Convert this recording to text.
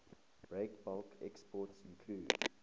breakbulk exports include